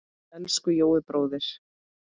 Elsku Jói bróðir.